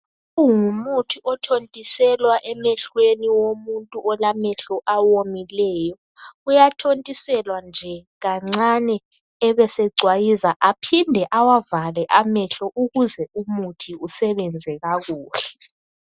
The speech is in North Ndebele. Kungumuthi othontiselwa emehlweni womuntu olamehlo awomileyo. Uyathontiselwa nje kancane ebesecwayiza amehlo aphinde awavale amehlo ukuze umuthi usebenze kakuhle.